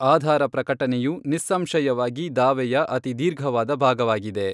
ಆಧಾರಪ್ರಕಟನೆಯು ನಿಸ್ಸಂಶಯವಾಗಿ ದಾವೆಯ ಅತಿ ದೀರ್ಘವಾದ ಭಾಗವಾಗಿದೆ.